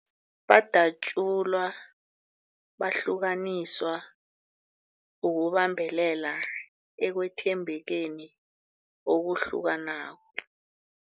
Badatjulwa, bahlukaniswa ukubambelela ekwethembekeni okuhlukanako.